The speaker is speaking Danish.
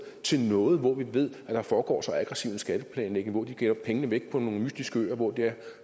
til noget hvor man ved at der foregår så aggressiv en skatteplanlægning hvor de gemmer pengene væk på nogle mystiske øer